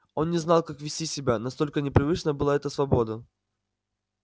он не знал как вести себя настолько непривычна была эта свобода